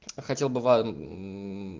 хотел бы вам